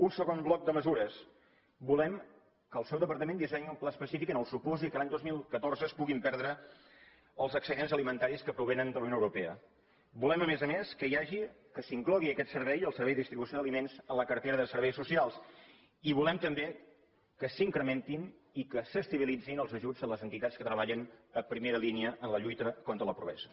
un segon bloc de mesures volem que el seu departament dissenyi un pla específic en el supòsit que l’any dos mil catorze es puguin perdre els excedents alimentaris que provenen de la unió europea volem a més a més que s’inclogui aquest servei el servei de distribució d’aliments en la cartera se serveis socials i volem també que s’incrementin i que s’estabilitzin els ajuts a les entitats que treballen a primera línia en la lluita contra la pobresa